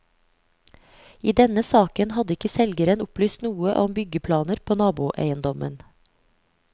I denne saken hadde ikke selgeren opplyst noe om byggeplaner på naboeiendommen.